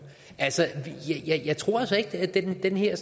jeg tror altså ikke at der er den her